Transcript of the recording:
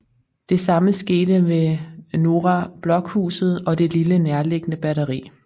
Det samme skete ved Norra Blockhuset og det lille nærliggende batteri